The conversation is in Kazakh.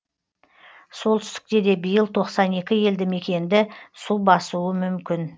солтүстікте де биыл тоқсан екі елді мекенді су басуы мүмкін